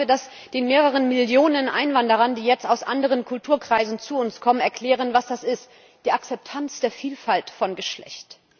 Und dann sollen wir den mehreren Millionen Einwanderern, die jetzt aus anderen Kulturkreisen zu uns kommen, erklären, was das ist die Akzeptanz der Vielfalt von Geschlecht.